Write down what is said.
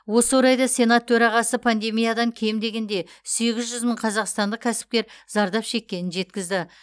осы орайда сенат төрағасы пандемиядан кем дегенде сегіз жүз мың қазақстандық кәсіпкер зардап шеккенін жеткізді